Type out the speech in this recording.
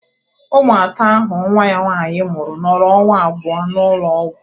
Ụmụ atọ ahụ nwa ya nwaanyị mụrụ nọrọ ọnwa abụọ n'ụlọ ọgwụ